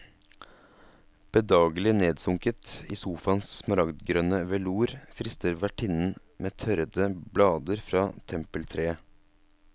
Bedagelig nedsunket i sofaens smaragdgrønne velour frister vertinnen med tørrede blader fra tempeltreet.